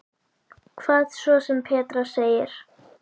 Hvað svo sem Petra segir.